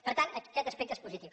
per tant aquest aspecte és positiu